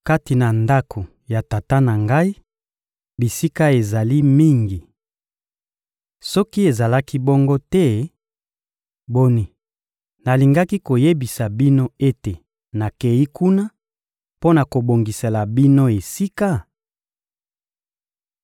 Kati na ndako ya Tata na Ngai, bisika ezali mingi. Soki ezalaki bongo te, boni, nalingaki koyebisa bino ete nakeyi kuna mpo na kobongisela bino esika?